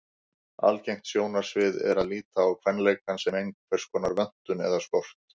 Algengt sjónarmið er að líta á kvenleikann sem einhverskonar vöntun eða skort.